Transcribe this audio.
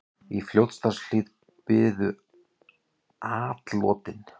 Í Fljótshlíð biðu atlotin.